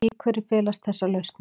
Í hverju felast þessar lausnir?